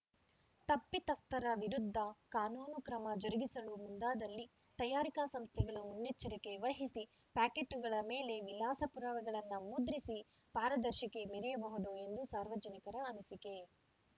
ತಪ್ಪಿತಸ್ಥರ ವಿರುದ್ಧ ಕಾನೂನು ಕ್ರಮ ಜರುಗಿಸಲು ಮುಂದಾದಲ್ಲಿ ತಯಾರಿಕಾ ಸಂಸ್ಥೆಗಳು ಮುನ್ನೆಚ್ಚರಿಕೆ ವಹಿಸಿ ಪ್ಯಾಕೇಟ್‌ಗಳ ಮೇಲೆ ವಿಳಾಸ ಪುರಾವೆಗಳನ್ನು ಮುದ್ರಿಸಿ ಪಾರದರ್ಶಿಕೆ ಮೆರೆಯಬಹುದು ಎಂದು ಸಾರ್ವಜನಿಕರ ಅನಿಸಿಕೆ